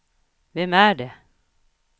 vem är det